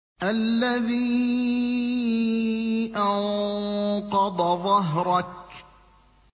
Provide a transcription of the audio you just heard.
الَّذِي أَنقَضَ ظَهْرَكَ